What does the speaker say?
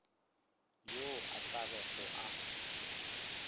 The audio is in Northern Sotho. yo a tla bego a